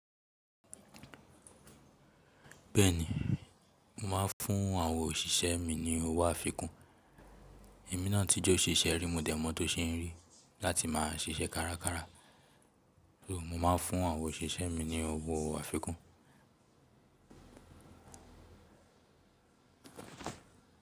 Bẹ́ẹ̀ni, mo máa ń fún àwọn òṣìṣẹ́ mi ní owó àfikún. Èmi náà tí jẹ́ òṣìṣẹ́ ru múdẹ̀mọ́ tó ṣe rí láti máa ṣiṣẹ́ kárakára. So mo máa ń fún àwọn òṣìṣẹ́ mi ní owó àfikún.